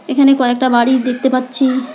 এখানে কয়েকটা বাড়ি দেখতে পাচ্ছি।